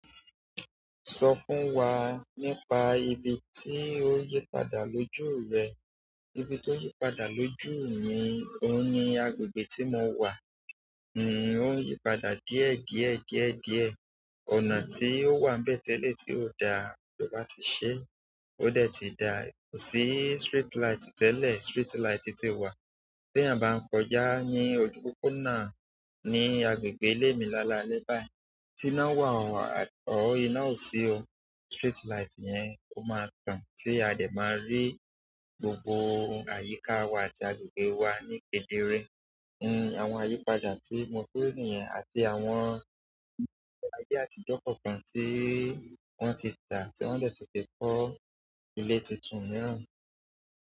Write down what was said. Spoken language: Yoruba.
Sọ fún wa nípa ibi tí o yípadà lójú rẹ. Ibi tí o yípadà lójú mi ò ní agbègbè tí mo wà. N ò yípadà díẹ̀ díẹ̀ díẹ̀ díẹ̀. Ọ̀nà tí ó wàmbẹ̀ tẹ́lẹ̀ tí ò da, ijobá ti ṣe, ó dẹ̀ ti da. Kò sí street light tẹ́lẹ̀, street light ti wà. Bí eyan bá ń kọjá ní ojú pópónà ní agbègbè ilé mi lálalẹ́ báyìí, tí iná wà ọ, or ina ọ sí ọ street light yẹn, ó máa tàn tí a dẹ̀ máa rí gbogbo àyíká wa àti agbègbè wa ní kedere. Ni, àwọn àyípadà tí mo féèrè nìyẹn àti àwọn ilé ayé àtijọ́ kọ̀ọ̀kan tí wọ́n ti tà tí wọ́n dè ti fi kọ́ ilé titun mìíràn.